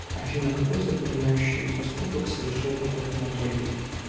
афина какой запоминающий поступок совершил попов анатолий